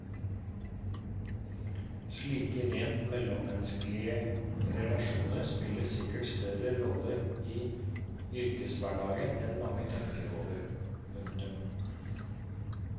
Slike rent mellommenneskelige relasjoner spiller sikkert større rolle i yrkeshverdagen enn mange tenker over. punktum